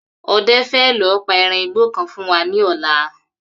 Ọdẹ fẹ lọ pa eran igbó kan wá fún wa ní ọ̀la